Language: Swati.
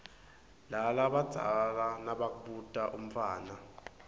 lalabadzala nmabakhuta umntfwana